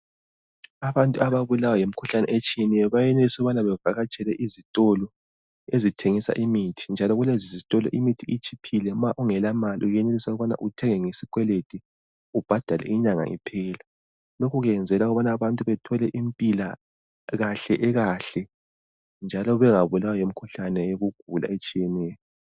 Abantu ababulawa yimikhuhlane etshiyeneyo bayenelisa ukubana bevatshele izitolo ezithengisa imithi njalo kulezizitolo imithi itshiphile njalo kulezizitolo uyenelisa ukubana uthenge ngesikwelede ubhadale inyanga iphela. Lokhu kwenzelwa ukubana abantu bathole impilakahle ekahle njalo bengabulawa yimikhuhlane yokugula etshiyeneyo.